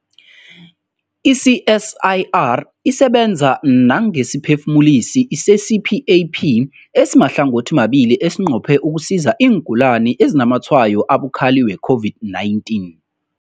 I-CSIR isebenza nangesiphefumulisi se-CPAP esimahlangothimabili esinqophe ukusiza iingulani ezinazamatshwayo abukhali we-COVID-19.